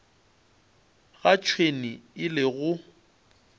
ga tšhwene e le go